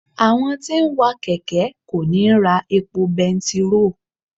Àwọn tí ń wa kẹ̀kẹ́ kò ní ra epo bẹntiróò.